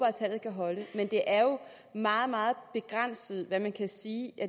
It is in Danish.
at tallet kan holde men det er jo meget meget begrænset hvad man kan sige